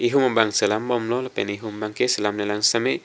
ehum bang selam bom lo lapen ehum bang ke selam le lang sita me--